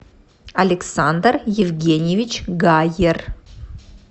александр евгеньевич гаер